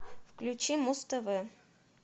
включи муз тв